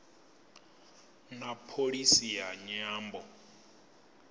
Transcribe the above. na pholisi ya nyambo